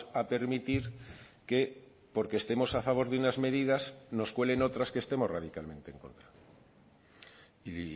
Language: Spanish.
a permitir que porque estemos a favor de unas medidas nos cuelen otras que estemos radicalmente en contra y